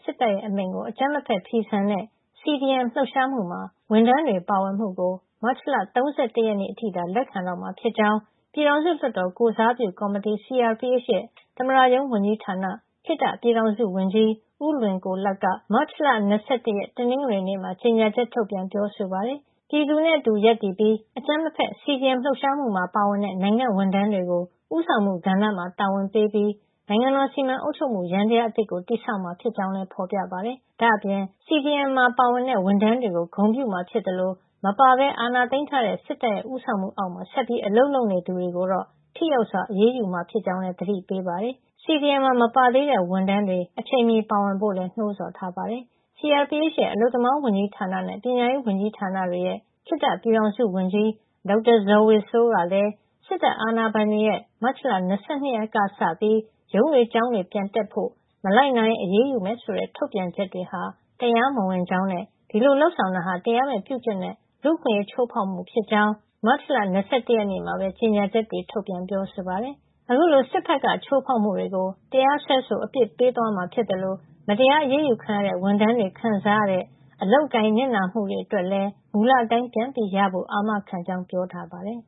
စစ်တပ်ရဲ့ အမိန့်ကို အကြမ်းမဖက် ဖီဆန်တဲ့ CDM လှုပ်ရှားမှုမှာ ဝန်ထမ်းတွေ ပါဝင်မှုကို မတ်လ ၃၁ ရက်နေ့ အထိသာ လက်ခံတော့မှာ ဖြစ်ကြောင်း ပြည်ထောင်စုလွှတ်တော်ကိုယ်စားပြုကော်မတီ CRPH ရဲ့ သမ္မတရုံးဝန်ကြီးဌာန ခေတ္တပြည်ထောင်စုဝန်ကြီး ဦးလွင်ကိုလတ်က မတ်လ ၂၁ ရက် တနင်္ဂနွေနေ့မှာ ကြေညာချက် ထုတ်ပြန်ပြောဆိုပါတယ်။ ပြည်သူနဲ့အတူရပ်တည်ပြီး အကြမ်းမဖက် CDM လှုပ်ရှားမှုမှာ ပါဝင်တဲ့ နိုင်ငံ့ဝန်ထမ်းတွေကို ဦးဆောင်မှုကဏ္ဍမှာ တာဝန်ပေးပြီး နိုင်ငံတော် စီမံအုပ်ချုပ်မှု ယန္တရား အသစ်ကို တည်ဆောက်မှာ ဖြစ်ကြောင်းလည်း ဖေါ်ပြထားပါတယ်။ ဒါ့အပြင် CDM မှာပါဝင်ခဲ့တဲ့ ဝန်ထမ်းတွေကို ဂုဏ်ပြုမှာ ဖြစ်သလို CDM မှာ မပါပဲ အာဏာသိမ်းထားတဲ့စစ်တပ်ရဲ့ ဦးဆောင်မှုအောက်မှာ ဆက်ပြီးအလုပ်လုပ်နေသူတွေကိုတော့ ထိရောက်စွာ အရေးယူမှာ ဖြစ်ကြောင်းလည်း သတိပေးထားပါတယ်။ CDM မှာ မပါ သေးတဲ့ဝန်ထမ်းတွေ အချိန်မီ ပါဝင်ဖို့လည်း နှိုးဆော်ထားတာပါ။ CRPH ရဲ့ အလုပ်သမားဝန်ကြီးဌာန နဲ့ ပညာရေးဝန်ကြီးဌာနတွေရဲ့ ခေတ္တပြည်ထောင်စုဝန်ကြီး ဒေါက်တာဇော်ဝေစိုးကလည်း စစ်တပ်အာဏာပိုင်တွေရဲ့ မတ်လ ၂၂ ရက်ကစပြီး ရုံးတွေ ကျောင်းတွေ ပြန်တက်ဖို့၊ မလိုက်နာရင် အရေးယူမယ်ဆိုတဲ့ ထုတ်ပြန်ချက်တွေဟာ တရားမဝင်ကြောင်းနဲ့ ဒီလိုလုပ်ဆောင်တာဟာ တရားမဲ့ပြုကျင့်တဲ့ လူ့အခွင့်ရေး ချိုးဖေါက်မှု ဖြစ်ကြောင်း မတ်လ ၂၁ ရက်နေ့မှာပဲ ကြေညာချက်တွေ ထုတ်ပြန်ပြောဆိုပါတယ်။ ဒါ့အပြင် အခုလို စစ်ဘက်က ချိုးဖေါက်မှုတွေကို တရားစွဲဆို အပြစ်ပေးသွားမှာ ဖြစ်သလို မတရား အရးယူခံရတဲ့ ဝန်ထမ်းတွေခံစားရတဲ့ အလုပ်အကိုင်၊ နစ်နာမှုတွေအတွက်လည်း မူလအတိုင်း ပြန်ရဖို့ အာမခံကြောင်း ပြောကြားထားပါတယ်။